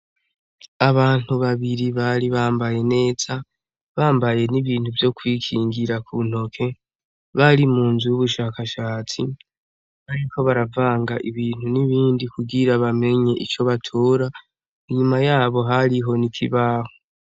Abantu babiri bari bambaye neza bambaye n'ibintu vyo kwikingira ku ntoke bari mu nzu y'ubushakashatsi bariko baravanga ibintu n'ibindi kugira bamenye ico batora inyuma yabo hari ho nikibaho.